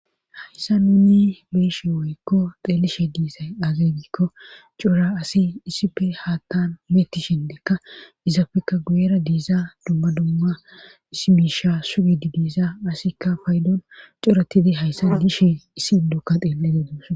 Hayssa nuni beeshe woykko xeelishe diisay azegikko cora asi isipe haattan meeti shindeekka izafekka guyera diiza dumma dumma isimiisha sugidi diisa asikka faydon coretidi hayssa dishe isiidokka xeelle geedos